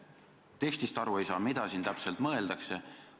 Tekstist aru ei saa, mida täpselt mõeldakse.